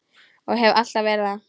Og hef alltaf verið það.